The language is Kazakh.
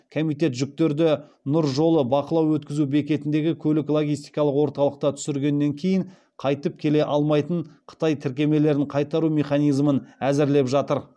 комитет жүктерді нұр жолы бақылау өткізу бекетіндегі көлік логистикалық орталықта түсіргеннен кейін қайтып келе алмайтын қытай тіркемелерін қайтару механизмін әзірлеп жатыр